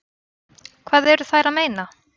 Hvað eru þær að meina?